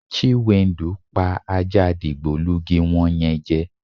Chiwendu pa ajá digbolugi wo̩n ye̩n je̩.